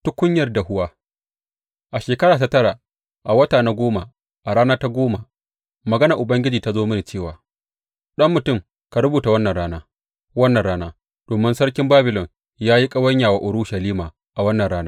Tukunyar dahuwa A shekara ta tara, a wata na goma, a rana ta goma, maganar Ubangiji ta zo mini cewa, Ɗan mutum, ka rubuta wannan rana, wannan rana, domin sarkin Babilon ya yi ƙawanya wa Urushalima a wannan rana.